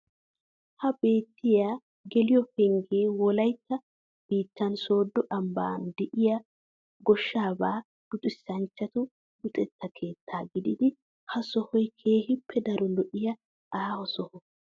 Ha beettiya geliyo penggee wolaytta biittan sodo ambban de'iya goshshaabaa luxissanchchatu luxetta keettaa gididi ha sohay keehippe daro lo"iya aaho soho.